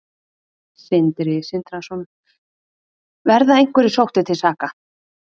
Sindri Sindrason: Verða einhverjir sóttir til saka?